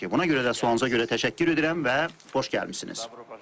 Buna görə də sualınıza görə təşəkkür edirəm və xoş gəlmisiniz.